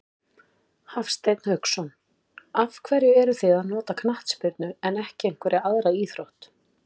Hafsteinn Hauksson: Af hverju eruð þið að nota knattspyrnu en ekki einhverja aðra íþrótt?